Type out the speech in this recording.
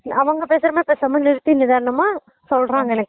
அவங்க பேசுற மாறி பேசாம நிறுத்தி நிதானமா சொல்றாங்க எனக்கு